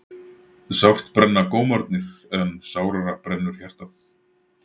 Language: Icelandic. Sárt brenna gómarnir en sárara brennur hjartað.